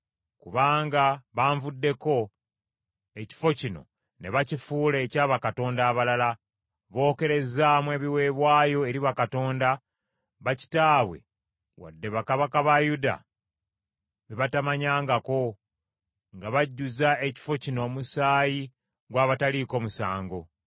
Kubanga banvuddeko ekifo kino ne bakifuula ekya bakatonda abalala. Bookerezaamu ebiweebwayo eri bakatonda, bakitaabwe wadde bakabaka ba Yuda be batamanyangako, nga bajjuzza ekifo kino omusaayi gw’abataliiko musango.